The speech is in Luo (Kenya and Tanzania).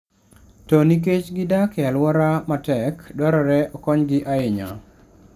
To nikech gidak e alwora matek, dwarore okonygi ahinya.